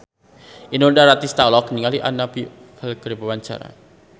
Inul Daratista olohok ningali Anna Popplewell keur diwawancara